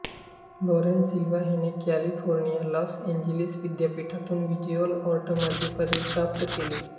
Laurene Silva हिने California Los Angeles विद्यापीठातून visual आर्टमध्ये पदवी प्राप्त केली